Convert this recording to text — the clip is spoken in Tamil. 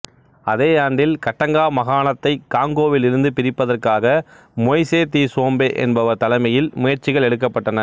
அதே ஆண்டில் கட்டங்கா மாகாணத்தைக் காங்கோவில் இருந்து பிரிப்பதற்காக மொய்சே திசோம்பே என்பவர் தலைமையில் முயற்சிகள் எடுக்கப்பட்டன